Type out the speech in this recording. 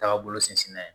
Taga bolo sinsinna yen